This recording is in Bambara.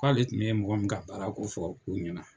K'ale tun ye mɔgɔ min ka baara ko fɔ U ɲɛna.